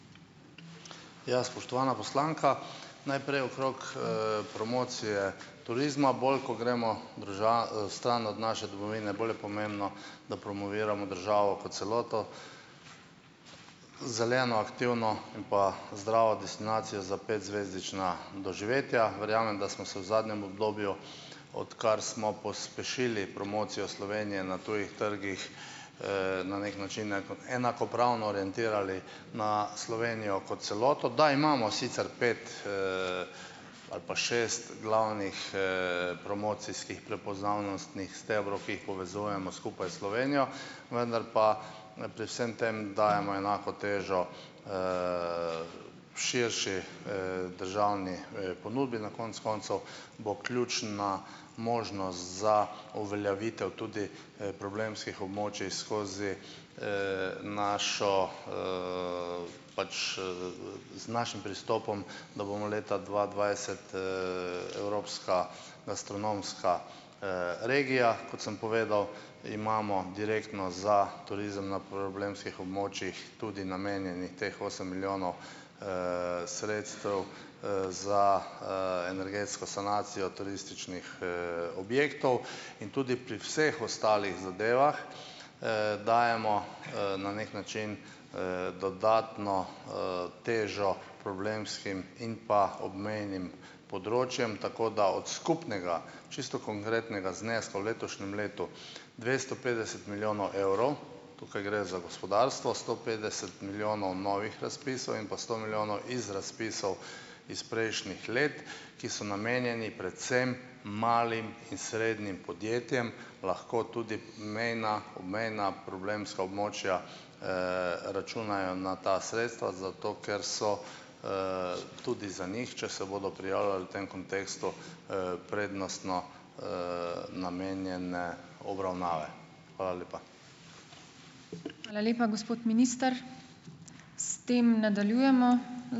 Ja, spoštovana poslanka. Najprej okrog, promocije turizma - bolj, ko gremo drža, stran od naše domovine, bolj je pomembno, da promoviramo državo kot celoto - Zeleno, aktivno in pa zdravo destinacijo za petzvezdična doživetja. Verjamem, da smo se v zadnjem obdobju, odkar smo pospešili promocijo Slovenije na tujih trgih, na neki način enakopravno orientirali na Slovenijo kot celoto, da imamo sicer pet, ali pa šest glavnih, promocijskih prepoznavnostnih stebrov, ki jih povezujmo skupaj s Slovenijo, vendar pa ne, pri vsem tem dajemo enako težo, širši, državni, ponudbi. Na konec koncev bo ključna možnost za uveljavitev tudi, problemskih območij skozi, našo, pač, z našim pristopom, da bomo leta dva dvajset, evropska astronomska, regija, kot sem povedal, imamo direktno za turizem na problemskih območjih tudi namenjeni teh osem milijonov, sredstev, za, energetsko sanacijo turističnih, objektov in tudi pri vseh ostalih zadevah, dajemo, na neki način, dodatno, težo problemskim in pa obmejnim področjem, tako da od skupnega, čisto konkretnega, zneska v letošnjem letu - dvesto petdeset milijonov evrov, tukaj gre za gospodarstvo - sto petdeset milijonov novih razpisov in pa sto milijonov iz razpisov iz prejšnjih let, ki so namenjeni predvsem malim in srednjim podjetjem, lahko tudi mejna, obmejna problemska območja, računajo na ta sredstva, zato ker so, tudi za njih, če se bodo prijavljali v tem kontekstu, prednostno, namenjene obravnave. Hvala lepa.